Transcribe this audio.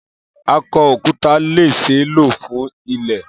Akọ-okuta le ṣee lo fun ilẹ.